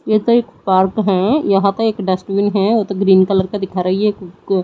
ये तो एक पार्क है यहां तो एक डस्टबिन है ग्रीन कलर का दिखा रही है को--